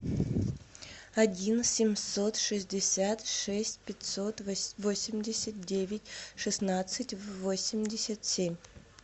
один семьсот шестьдесят шесть пятьсот восемьдесят девять шестнадцать восемьдесят семь